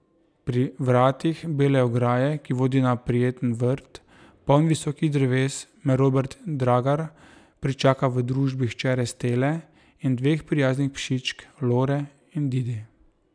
Pri vratih bele ograje, ki vodi na prijeten vrt, poln visokih dreves, me Robert Dragar pričaka v družbi hčere Stele in dveh prijaznih psičk, Lore in Didi.